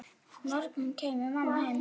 morgun kæmi mamma heim.